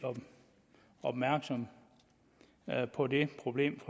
opmærksom på det problem